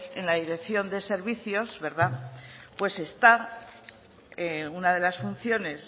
en la dirección de servicios verdad pues está una de las funciones